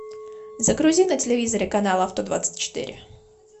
загрузи на телевизоре канал авто двадцать четыре